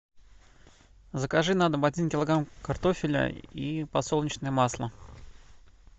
закажи на дом один килограмм картофеля и подсолнечное масло